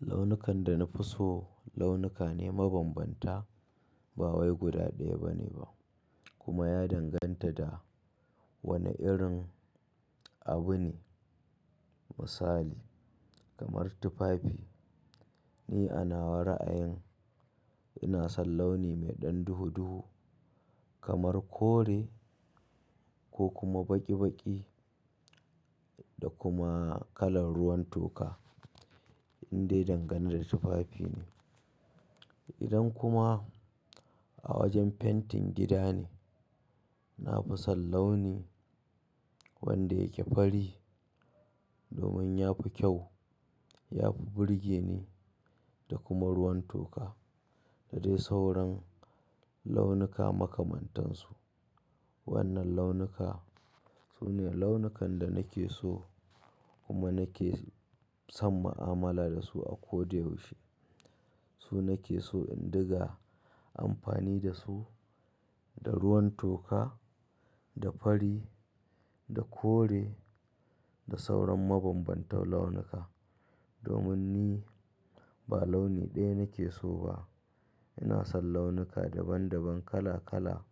Launukan da na fi so launuka ne mabambanta, ba wai guda ɗaya bane ba kuma ya danganta da wane irin abu ne. Misali kamar tufafi, ni ana nawa a'ayin ina son launi mai ɗan duhu-duhu kamar kore ko kuma baƙi-baƙi da kuma kalar ruwan toka in dai dangane da tufafi ne. Idan kuma a wajen fentin gida ne, na fi son launi wanda yake fari domin ya fi kyau, ya fi burge ni da kuma ruwan toka da dai sauran launuka makamantansu. Wannan launuka su ne launukan da nake so kuma nake sam ma'amala da su a koda yaushe. Su nake so in diga amfani da su, da ruwan toka, da fari, da kore da sauran mabambantan launuka domin ni ba launi ɗaya nake so ba. Ina son launuka daban-daban kala-kala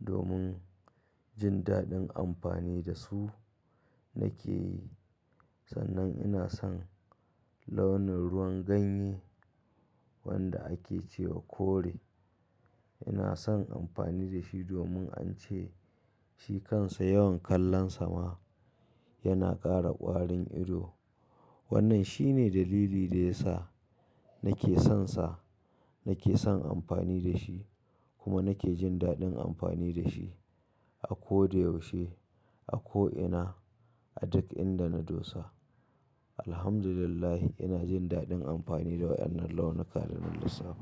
domin jin daɗin amfani da su nake yi. Sannan ina son launin ruwan ganye wanda ake ce wa kore. Ina son amfani da shi domin an ce shi kansa yawan kallonsa ma yana ƙara ƙwarin ido. Wannan shi ne dalili da ya sa nake sonsa, nake son amfani da shi kuma nake jin daɗin amfani da shi a koda yaushe, a ko ina, a duk inda na dosa. Alhamdulillah, ina jin daɗin amfani da waɗannan launuka dana lissafa.